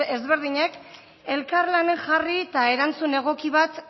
ezberdinek elkarlanen jarri eta erantzun egoki bat